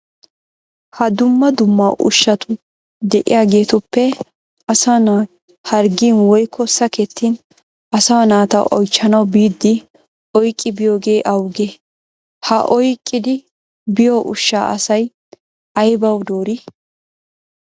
Ha dumma dumma ushshati de'iyageetuppe asa na'i harggin woykko sakettin asaa naata oychchanawu biiddi oyqqidi biyogee awugee? Ha oyqqidi biyo ushshaa asay aybawu doorii?